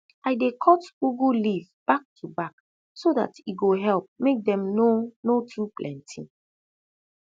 i dey cut ugu leaf back to back so dat e go help mak dem no no too plenti